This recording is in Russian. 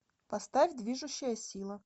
поставь движущая сила